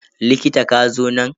Likita, ka zo nan.